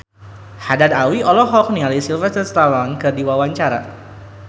Haddad Alwi olohok ningali Sylvester Stallone keur diwawancara